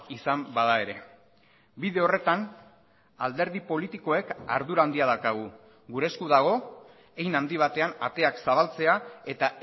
izan bada ere bide horretan alderdi politikoek ardura handia daukagu gure esku dago hein handi batean ateak zabaltzea eta